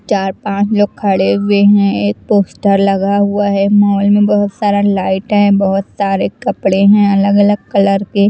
चार पांच लोग खड़े हुए हैं एक पोस्टर लगा हुआ हैं मॉल में बहुत सारा लाइट हैं बहुत सारे कपड़े हैं अलग अलग कलर के--